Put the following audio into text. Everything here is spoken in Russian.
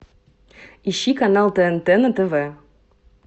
ищи канал тнт на тв